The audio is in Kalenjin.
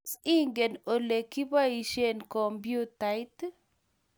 Tos, ingen olegiboishei kompyutait?